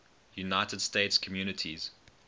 united states communities